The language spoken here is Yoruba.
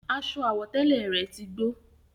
Aṣọ àwọ̀tẹ́lẹ̀ rẹ̀ tí gbó